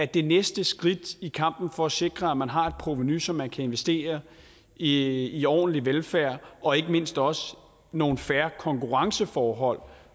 det næste skridt i kampen for at sikre at man har et provenu så man kan investere i i ordentlig velfærd og ikke mindst også nogle fair konkurrenceforhold